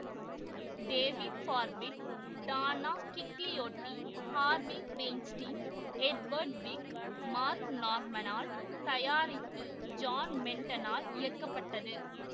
David Parfitt Donna Gigliotti Harvey Weinstein Edward Zwick Marc Norman ஆல் தயாரித்து John Madden ஆல் இயக்கப்பட்டது